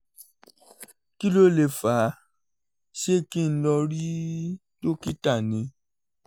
kí ló lè fà á ṣé kí n lọ rí dókítà ni?